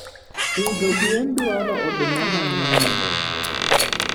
pidho gwen dwaro oduma mangeny